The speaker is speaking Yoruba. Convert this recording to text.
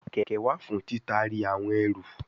Keke wa fun titari awon eru